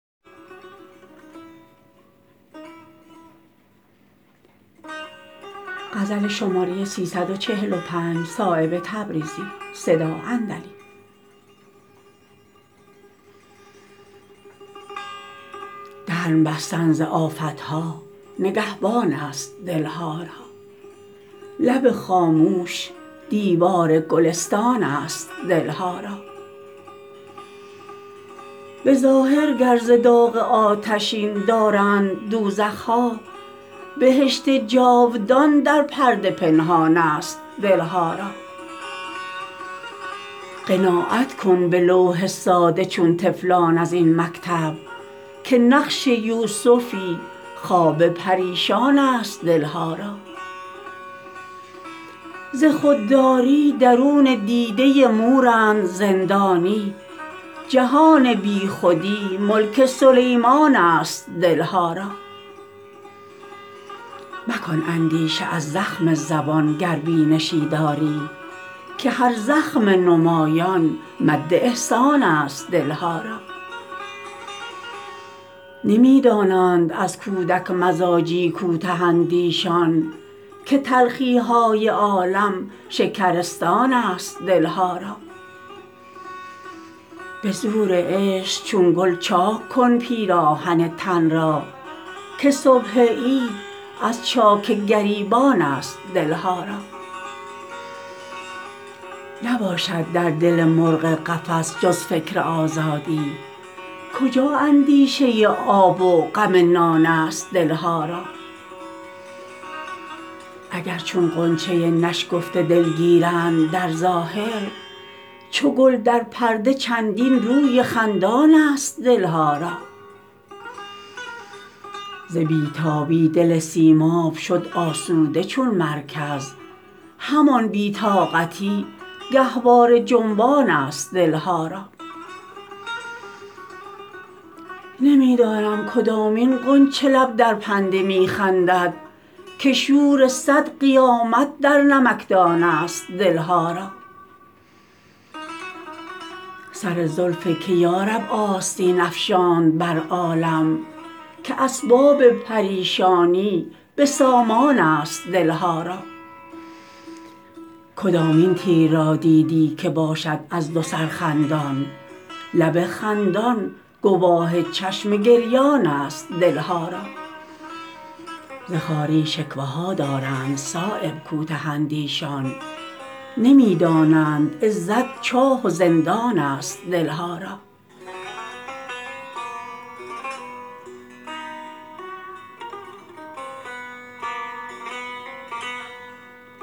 دهن بستن ز آفت ها نگهبان است دل ها را لب خاموش دیوار گلستان است دل ها را به ظاهر گر ز داغ آتشین دارند دوزخ ها بهشت جاودان در پرده پنهان است دل ها را قناعت کن به لوح ساده چون طفلان ازین مکتب که نقش یوسفی خواب پریشان است دل ها را ز خودداری درون دیده مورند زندانی جهان بی خودی ملک سلیمان است دل ها را مکن اندیشه از زخم زبان گر بینشی داری که هر زخم نمایان مد احسان است دل ها را نمی دانند از کودک مزاجی کوته اندیشان که تلخی های عالم شکرستان است دل ها را به زور عشق چون گل چاک کن پیراهن تن را که صبح عید از چاک گریبان است دل ها را نباشد در دل مرغ قفس جز فکر آزادی کجا اندیشه آب و غم نان است دل ها را اگر چون غنچه نشکفته دلگیرند درظاهر چو گل در پرده چندین روی خندان است دل ها را ز بی تابی دل سیماب شد آسوده چون مرکز همان بی طاقتی گهواره جنبان است دل ها را نمی دانم کدامین غنچه لب در پرده می خندد که شور صد قیامت در نمکدان است دل ها را سر زلف که یارب آستین افشاند بر عالم که اسباب پریشانی به سامان است دل ها را کدامین تیر را دیدی که باشد از دو سر خندان لب خندان گواه چشم گریان است دل ها را ز خواری شکوه ها دارند صایب کوته اندیشان نمی دانند عزت چاه و زندان است دل ها را